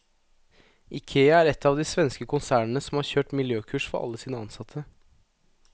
Ikea er ett av de svenske konsernene som har kjørt miljøkurs for alle sine ansatte.